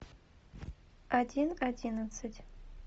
один одиннадцать